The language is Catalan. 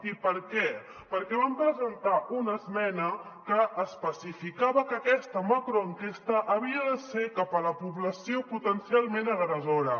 i per què perquè vam presentar una esmena que especificava que aquesta macroenquesta havia de ser cap a la població potencialment agressora